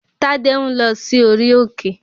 Tádé ń lọ sí orí òkè